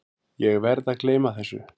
Ég verð að gleyma þessu.